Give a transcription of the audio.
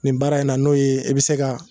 Nin baara in na n'o ye e be se ka